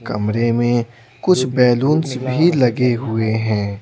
कमरे में कुछ बैलूंस भीलगे हुए हैं।